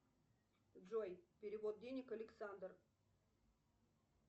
джой перевод денег александр